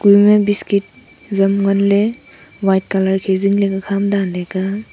ema biscuit zam nganley white colour khe zingley ka danley ka.